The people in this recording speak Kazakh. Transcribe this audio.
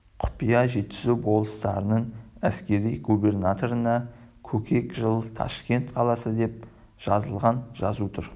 құпия жетісу болыстарының әскери губернаторына көкек жыл ташкент қаласы деп жазылған жазу тұр